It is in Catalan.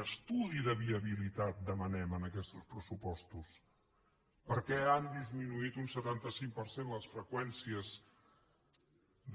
un estudi de viabilitat demanem en aquestos pressupostos perquè han disminuït un setanta cinc per cent les freqüències